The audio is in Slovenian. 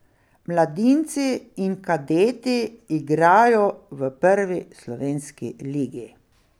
Mladinci in kadeti igrajo v prvi slovenski ligi.